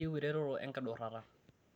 kaiyieu ereteto enkidurata